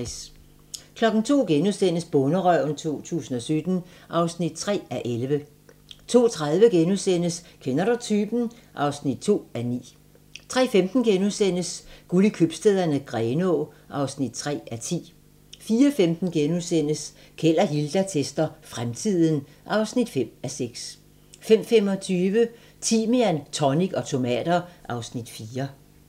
02:00: Bonderøven 2017 (3:11)* 02:30: Kender du typen? (2:9)* 03:15: Guld i købstæderne - Grenaa (3:10)* 04:15: Keld og Hilda tester fremtiden (5:6)* 05:25: Timian, tonic og tomater (Afs. 4)